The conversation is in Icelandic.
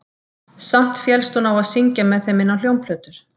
Samt féllst hún á að syngja með þeim inn á hljómplötur